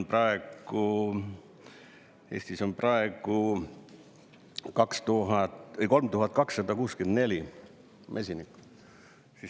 Eestis on praegu 3264 mesinikku.